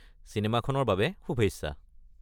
চিনেমাখনৰ বাবে শুভেচ্ছা!